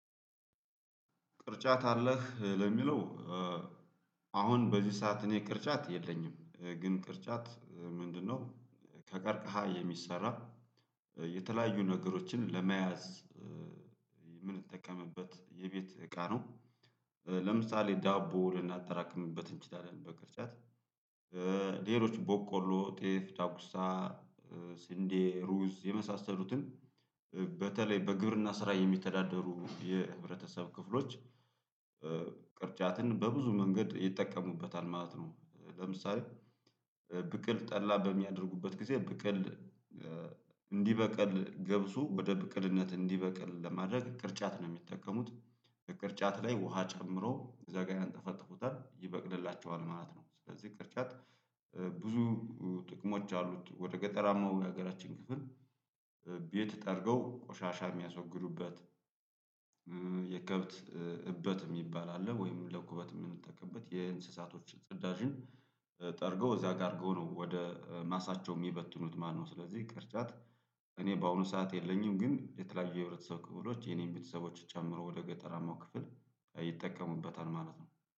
ቅርጫት አለህ ለሚለው? አሁን በዚህ ሰዓት እኔ ቅርጫት የለኝም ግን ቅርጫት ምንድነው ከቀርቀሃ የሚሰራ የተለያዩ ነገሮችን ለመያዝ የምንጠቀምበት የቤት እቃ ነው። ለምሳሌ ዳቦ ልናጠራክምበት እንችላለን በቅርጫት። ሌሎች ቦቆሎ ጤፍ ዳጉሳ ስንዴ ሩዝ የመሳሰሉትን በተለይ በግብርና ስራ የሚተዳደሩ የህብረተሰብ ክፍሎች ቅርጫትን በብዙ መንገድ ይጠቀሙበታል ማለት ነው። ለምሳሌ ብቅል ጠላ በሚያደርጉበት ጊዜ ብቅል እንዲበቅል ገብሱ ወደ ብቅልነት እንዲበቅል ለማድረግ ቅርጫት ነው የሚጠቀሙት። ቅርጫት ላይ ውሃ ጨምሮ እዛ ጋር አንጠፈጠፉታል ይበቅልላቸዋል ማለት ነው። ስለዚህ ቅርጫት ብዙ ጥቅሞች አሉት። ወደ ገጠራማው የሀገራችን ክፍል ቤት ጠርገው ቆሻሻ የሚያስወግዱበት። የከብት እበት የሚባል አለ ወይም ለኩበት የምንጠቀምበት የእንስሳቶች ጽዳጅን ጠርገው እዛ ጋር አርገው ነው ወደ ማሳቸው የሚበትኑት ማለት ነው። ስለዚህ ቅርጫት እኔ በአሁኑ ሰዓት የለኝም ግን የተለያዩ የህብረተሰብ ክፍሎች የኔን ቤተሰቦች ጨምሮ ወደ ገጠራማው ክፍል ይጠቀሙበታል ማለት ነው